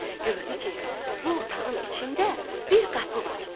Gördü ki, bu otağın içində bir qapı var.